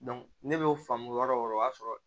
ne bɛ faamu yɔrɔ o yɔrɔ o y'a sɔrɔ